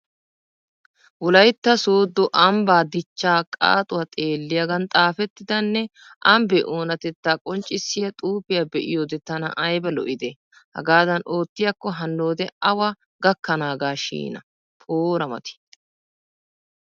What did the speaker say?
Wolaytta soddo ambbaa dichchaa qaaxuwa xeelliyaagan xaafettidanne ambbee onnatettaa qonccssiya xuufiya be'iyode tana ayba lo'idee! Hagaadan oottiyakko hannode awa gakkanaagashin poora mati!!